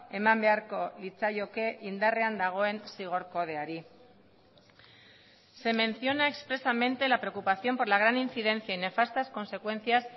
eman beharko litzaioke indarrean dagoen zigor kodeari se menciona expresamente la preocupación por la gran incidencia y nefastas consecuencias